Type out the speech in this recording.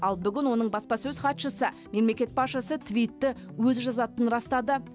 ал бүгін оның баспасөз хатшысы мемлекет басшысы твитті өзі жазатынын растады